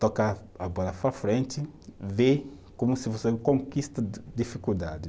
tocar a bola para frente, ver como se você conquista de dificuldade.